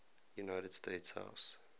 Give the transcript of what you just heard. united states house